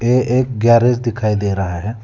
ये एक गैरेज दिखाई दे रहा है।